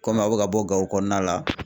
Kɔmi aw bɛ ka bɔ Gawo kɔnɔna la